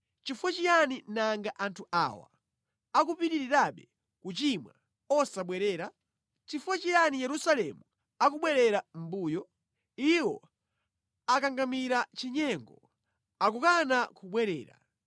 Chifukwa chiyani nanga anthu awa akupitirirabe kuchimwa, osabwerera? Chifukwa chiyani Yerusalemu akubwerera mʼmbuyo? Iwo akangamira chinyengo; akukana kubwerera.